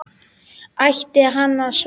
Ætti hann að svara?